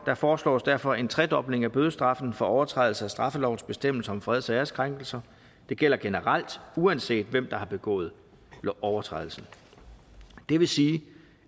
der foreslås derfor en tredobling af bødestraffen for overtrædelse af straffelovens bestemmelser om freds og æreskrænkelser det gælder generelt uanset hvem der har begået overtrædelsen det vil sige